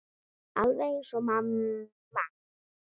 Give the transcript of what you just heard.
Alveg eins og mamma.